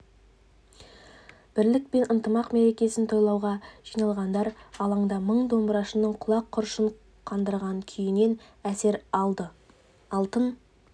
бірлік пен ынтымақ мерекесін тойлауға жиналғандар алаңда мың домбырашының құлақ құрышын қандырған күйінен әсер алды алтын